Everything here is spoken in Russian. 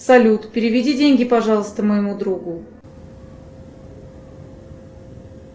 салют переведи деньги пожалуйста моему другу